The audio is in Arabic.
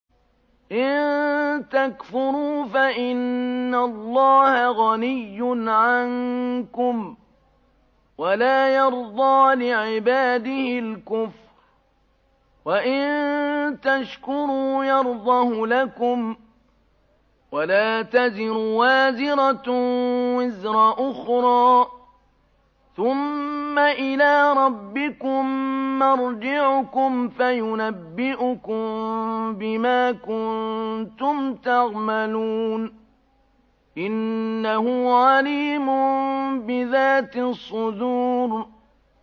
إِن تَكْفُرُوا فَإِنَّ اللَّهَ غَنِيٌّ عَنكُمْ ۖ وَلَا يَرْضَىٰ لِعِبَادِهِ الْكُفْرَ ۖ وَإِن تَشْكُرُوا يَرْضَهُ لَكُمْ ۗ وَلَا تَزِرُ وَازِرَةٌ وِزْرَ أُخْرَىٰ ۗ ثُمَّ إِلَىٰ رَبِّكُم مَّرْجِعُكُمْ فَيُنَبِّئُكُم بِمَا كُنتُمْ تَعْمَلُونَ ۚ إِنَّهُ عَلِيمٌ بِذَاتِ الصُّدُورِ